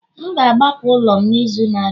M ga-agbapụ ụlọ m n'izu na-abịa